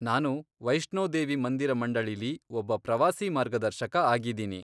ನಾನು ವೈಷ್ಣೋದೇವಿ ಮಂದಿರ ಮಂಡಳಿಲಿ ಒಬ್ಬ ಪ್ರವಾಸಿ ಮಾರ್ಗದರ್ಶಕ ಆಗಿದೀನಿ.